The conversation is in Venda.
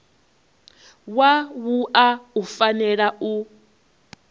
wa wua u fanela u